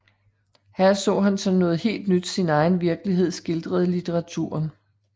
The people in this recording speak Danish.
Her så han som noget helt nyt sin egen virkelighed skildret i litteraturen